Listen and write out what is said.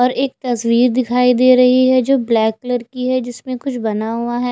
और एक तस्वीर दिखाई दे रही है जो ब्लैक कलर की है जिसमें कुछ बना हुआ है।